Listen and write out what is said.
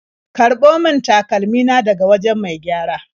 Karɓo min takalmi na daga wajen mai gyara.